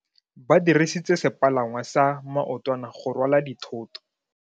Ba dirisitse sepalangwasa maotwana go rwala dithoto.